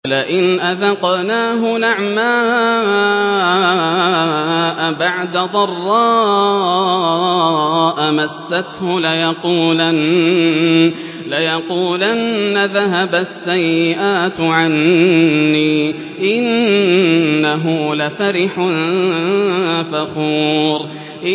وَلَئِنْ أَذَقْنَاهُ نَعْمَاءَ بَعْدَ ضَرَّاءَ مَسَّتْهُ لَيَقُولَنَّ ذَهَبَ السَّيِّئَاتُ عَنِّي ۚ إِنَّهُ لَفَرِحٌ فَخُورٌ